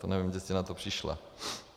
To nevím, kde jste na to přišla.